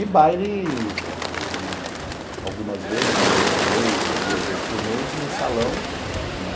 E baile né algumas vezes, uma vez por mês ou duas vezes por mês, no salão.